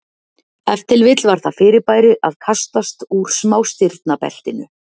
Ef til vill var það fyrirbæri að kastast úr smástirnabeltinu.